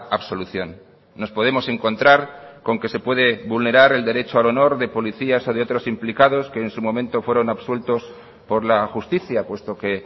absolución nos podemos encontrar con que se puede vulnerar el derecho al honor de policías o de otros implicados que en su momento fueron absueltos por la justicia puesto que